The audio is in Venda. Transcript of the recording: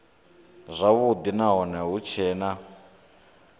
zwavhudi nahone hu tshee na